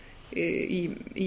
vistkerfisnálgun í